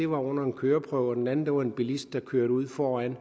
under en køreprøve og den anden blev dræbt fordi en bilist kørte ud foran